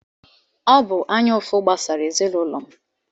Ọ bụụrụ anya ụfụ gbasara ezinụlọ m.